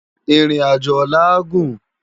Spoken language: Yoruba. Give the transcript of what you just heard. Irin ájó òlà á gún